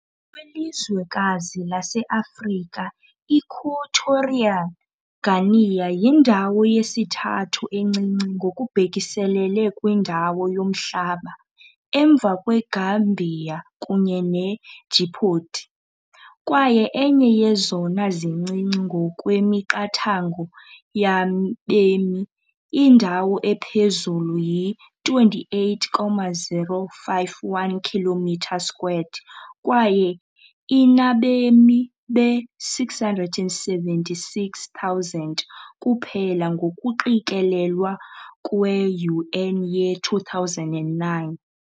Kwilizwekazi lase-Afrika, i-Equatorial Guinea yindawo yesithathu encinci ngokubhekiselele kwindawo yomhlaba, emva kweGambia kunye ne- Djibouti, kwaye enye yezona zincinci ngokwemiqathango yabemi, indawo ephezulu yi-28,051 kilometer squared, kwaye inabemi be-676,000 kuphela ngokuqikelelwa kwe -UN ye-2009 .